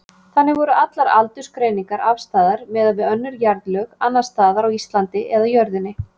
Þannig voru allar aldursgreiningar afstæðar miðað við önnur jarðlög, annars staðar á Íslandi eða jörðinni.